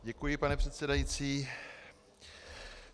Děkuji, pane předsedající.